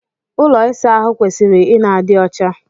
Ụlọ ịsa ahụ kwesịrị ị na-adị ọcha.